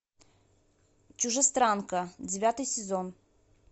чужестранка девятый сезон